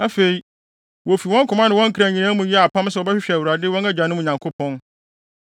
Afei, wofi wɔn koma ne wɔn kra nyinaa mu yɛɛ apam sɛ wɔbɛhwehwɛ Awurade, wɔn agyanom Nyankopɔn.